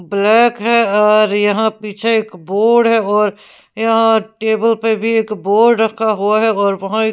black है और यहाँ पीछे एक बोर्ड है और यहाँ टेबल पे भी एक बोर्ड रखा हुआ है और वहाँ एक --